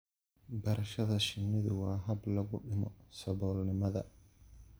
Barashada shinnidu waa hab lagu dhimo saboolnimada.